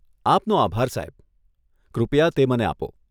આપનો આભાર, સાહેબ, કૃપયા તે મને આપો.